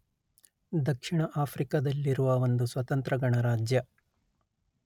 ದಕ್ಷಿಣ ಆಫ್ರಿಕದಲ್ಲಿರುವ ಒಂದು ಸ್ವತಂತ್ರ ಗಣರಾಜ್ಯ